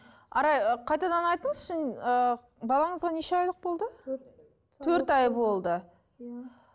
арай ы қайтадан айтыңызшы ыыы балаңызға неше айлық болды төрт ай болды иә